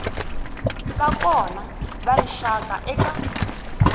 va kona ka rixaka eka